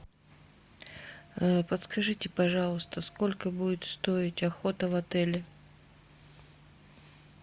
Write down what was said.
подскажите пожалуйста сколько будет стоить охота в отеле